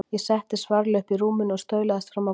Ég settist varlega upp í rúminu og staulaðist fram á gólf.